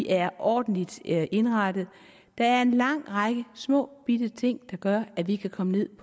er ordentlig indrettet der er en lang række små bitte ting der gør at vi kan komme ned